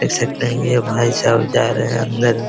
देख सकते है ये भाई साहब जा रहे है अंदर।